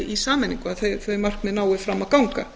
í sameiningu að þau markmið nái fram að ganga